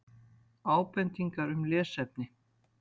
Ábendingar um lesefni: